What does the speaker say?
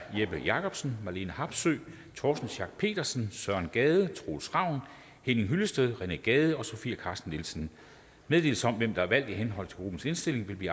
jeppe jakobsen marlene harpsøe torsten schack pedersen søren gade troels ravn henning hyllested rené gade sofie carsten nielsen meddelelse om hvem der er valgt i henhold til gruppernes indstilling vil